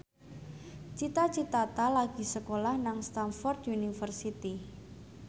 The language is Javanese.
Cita Citata lagi sekolah nang Stamford University